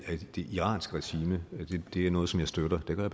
iranske regime er noget som jeg støtter det gør